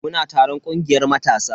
Muna taron kungiyar matasa.